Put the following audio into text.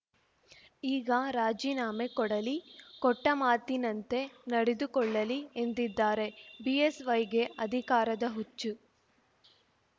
ಈಗ ರಾಜೀನಾಮೆ ಕೊಡಲಿ ಕೊಟ್ಟಮಾತಿನಂತೆ ನಡೆದುಕೊಳ್ಳಲಿ ಎಂದಿದ್ದಾರೆ ಬಿಎಸ್‌ವೈಗೆ ಅಧಿಕಾರದ ಹುಚ್ಚು